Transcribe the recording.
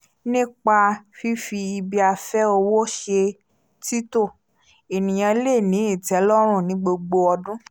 nípa fífi ibi-afẹ́ owó ṣe tító ènìyàn le ní ìtẹ́lọ́run ní gbogbo ọdún